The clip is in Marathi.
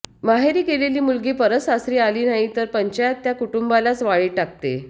माहेरी गेलेली मुलगी परत सासरी आली नाही तर पंचायत त्या कुटुंबालाच वाळीत टाकते